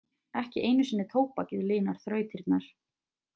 Ekki einu sinni tóbakið linar þrautirnar.